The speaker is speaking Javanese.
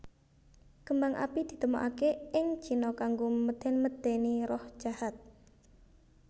Kembang api ditemokaké ing Cina kanggo medén medéni roh jahat